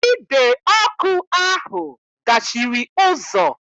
Ide ọkụ ahụ dachiri ụzọ